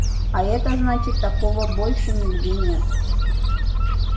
а это значит такого больше нигде нет